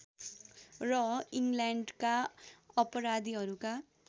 र इङ्ल्यान्डका अपराधीहरूका